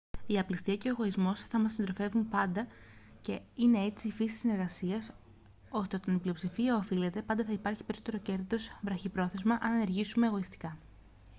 η απληστία και ο εγωισμός θα μας συντροφεύουν πάντα και είναι έτσι η φύση της συνεργασίας ώστε όταν η πλειοψηφία ωφελείται πάντα θα υπάρχει περισσότερο κέρδος βραχυπρόθεσμα αν ενεργήσουμε εγωιστικά